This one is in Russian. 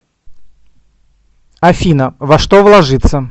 афина во что вложиться